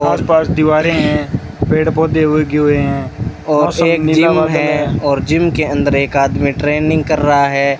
आसपास दीवारें हैं पेड़ पौधे उगे हुए हैं और एक जिम है और जिम के अंदर एक आदमी ट्रेनिंग कर रहा है।